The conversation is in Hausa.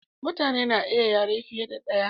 mutane na iya yare fiye da daya